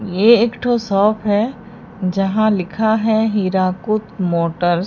ये एक ठो शॉप है जहां लिखा है हीराकुद मोटर्स ।